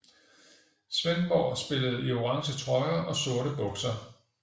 Svendborg spillede i orange trøjer og sorte bukser